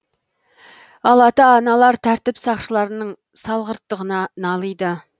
ал ата аналар тәртіп сақшыларының салғырттығына налиды